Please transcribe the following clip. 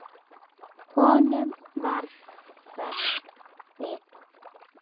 Honum varð hverft við.